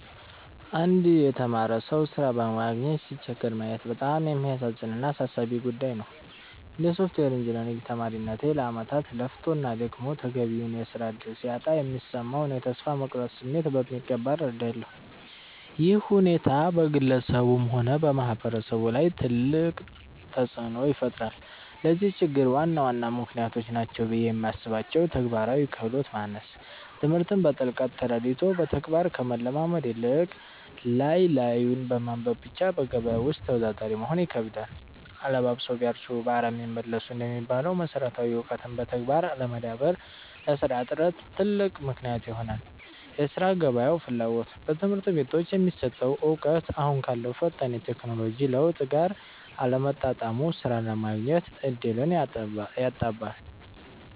አንድ የተማረ ሰው ሥራ በማግኘት ሲቸገር ማየት በጣም የሚያሳዝን እና አሳሳቢ ጉዳይ ነው። እንደ ሶፍትዌር ኢንጂነሪንግ ተማሪነቴ፣ ለዓመታት ለፍቶና ደክሞ ተገቢውን የሥራ ዕድል ሲያጣ የሚሰማውን የተስፋ መቁረጥ ስሜት በሚገባ እረዳለሁ። ይህ ሁኔታ በግለሰቡም ሆነ በማህበረሰቡ ላይ ትልቅ ተጽዕኖ ይፈጥራል። ለዚህ ችግር ዋና ዋና ምክንያቶች ናቸው ብዬ የማስባቸው፦ ተግባራዊ ክህሎት ማነስ፦ ትምህርትን በጥልቀት ተረድቶ በተግባር ከመለማመድ ይልቅ፣ ላይ ላዩን በማንበብ ብቻ በገበያው ውስጥ ተወዳዳሪ መሆን ይከብዳል። 'አለባብሰው ቢያርሱ በአረም ይመለሱ' እንደሚባለው፣ መሰረታዊ እውቀትን በተግባር አለማዳበር ለሥራ እጥረት ትልቅ ምክንያት ይሆናል የሥራ ገበያው ፍላጎት፦ በትምህርት ቤቶች የሚሰጠው እውቀት አሁን ካለው ፈጣን የቴክኖሎጂ ለውጥ ጋር አለመጣጣሙ ሥራ የማግኘት ዕድልን ያጠባል።